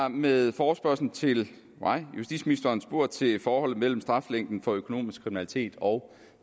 har med forespørgslen til mig justitsministeren spurgt til forholdet mellem straflængden for økonomisk kriminalitet og